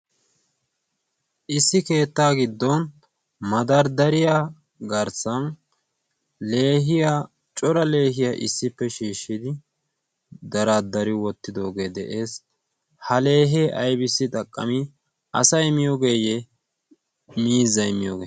Issi keetta giddon madarddariya garssan cotra leehiyaa issippe shiishshidi daradari wottidooge de'ees. ha leehe aybissi xaqqami asay miyoogeyye miizzay miyooge?